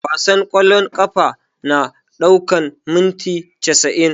Wasan ƙwallon ƙafa na ɗaukan minti casa'in